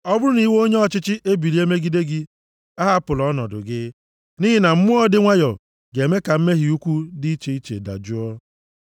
Ọ bụrụ na iwe onye ọchịchị ebilie megide gị, ahapụla ọnọdụ gị, nʼihi na mmụọ dị nwayọọ ga-eme ka mmehie ukwu dị iche iche dajụọ.